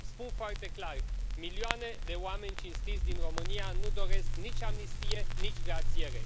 Spun foarte clar milioane de oameni cinstiți din România nu doresc nici amnistie, nici grațiere.